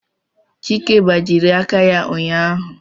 Chike gbajie aka ya ụnyaahụ